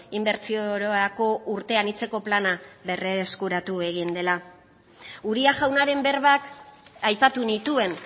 inbertsio ororako urte anitzeko plana berreskuratu egin dela uria jaunaren berbak aipatu nituen